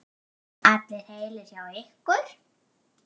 Allir heilir hjá ykkur?